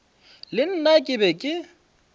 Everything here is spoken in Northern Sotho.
le nna ke be ke